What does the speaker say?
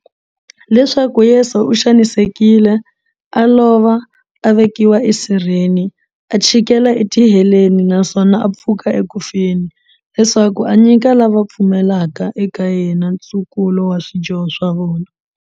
Leswaku Yesu u xanisekile, a lova, a vekiwa esirheni, a chikela etiheleni, naswona a pfuka eku feni, leswaku a nyika lava va pfumelaka eka yena, ntsukulo wa swidyoho swa vona.